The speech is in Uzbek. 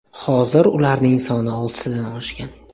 Hozir ularning soni oltidan oshgan.